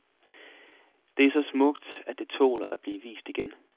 Det er så smukt, at det tåler at blive vist igen.